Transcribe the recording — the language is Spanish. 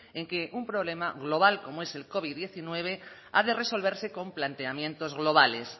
en que un problema global como es el covid uno ha de resolverse con planteamientos globales